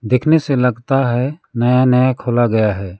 देखने से लगता है नया नया खोला गया है।